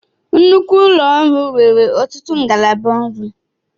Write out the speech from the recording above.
Nnukwu ụlọ ọrụ nwere ọtụtụ ngalaba ọrụ